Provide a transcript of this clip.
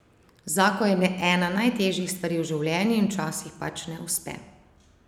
Zakon je ena najtežjih stvari v življenju in včasih pač ne uspe.